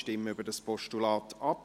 Wir stimmen über das Postulat ab.